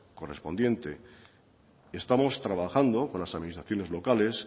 correspondiente estamos trabajando con las administraciones locales